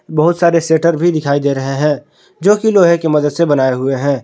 बहुत सारे शटर भी दिखाई दे रहे हैं जो कि लोहे की मदद से बनाए हुए हैं।